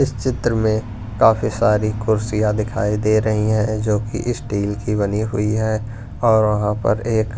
इस चित्र में काफी सारी कुर्सियां दिखाई दे रही हैं जो कि स्टील की बनी हुई है और वहां पर एक--